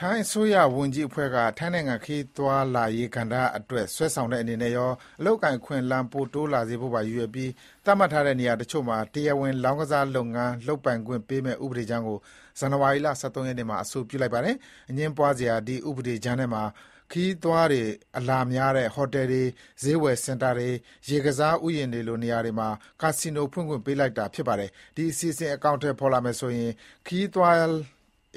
ထိုင်းအစိုးရဝန်ကြီးအဖွဲ့က ထိုင်းနိုင်ငံ ခရီးသွားလာရေးကဏ္ဍအတွက် ဆွဲဆောင်တဲ့အနေနဲ့ရော အလုပ်အကိုင်အခွင့်အလမ်းပိုတိုးလာစေဖို့ပါရည်ရွယ်ပြီး သတ်မှတ်ထားတဲ့ နေရာဒေသတချို့မှာ တရားဝင်လောင်းကစား လုပ်ငန်းလုပ်ပိုင်ခွင့်ပေးမယ့် ဥပဒေကြမ်းကို ဇန်နဝါရီ ၁၃ ရက်နေ့မှာ အဆိုပြုလိုက်ပါတယ်။ အငြင်းပွားစရာ ဒီဥပဒေကြမ်းထဲမှာ ခရီးသွားတွေအလာများတဲ့ ဟိုတယ်တွေ၊ ဈေးဝယ်စင်တာတွေ၊ ရေကစားဥယျာဥ်တွေလို နေရာတွေမှာ ကာစီနိုဖွင့်ခွင့်ပေးလိုက်တာပါ။ ဒီအစီအစဥ် အကောင်အထည် ပေါ်လာမယ်ဆိုရင် ခရီးသွား